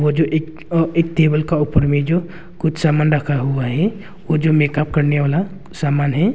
वो जो एक अ एक टेबल का ऊपर में जो कुछ सामान रखा हुआ है वो जो मेकअप करने वाला समान है।